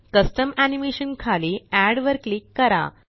custom animation खाली add वर click करा